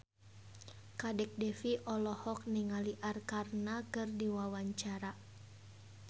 Kadek Devi olohok ningali Arkarna keur diwawancara